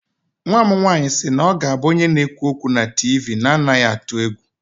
Nwa m nwanyị si na ọ ga-abụ onye na-ekwu okwu na TV na-anaghị atụ egwu